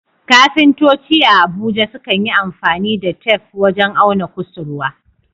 Kafintoci a Abuja sukan yi amfani da tef wajen auna kusurwa.